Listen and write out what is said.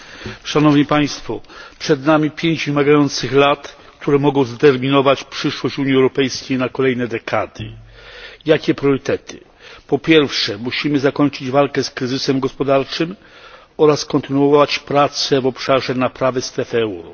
Pani Przewodnicząca! Szanowni Państwo! Przed nami pięć wymagających lat, które mogą zdeterminować przyszłość Unii Europejskiej na kolejne dekady. Jakie priorytety? Po pierwsze, musimy zakończyć walkę z kryzysem gospodarczym oraz kontynuować pracę w obszarze naprawy strefy euro.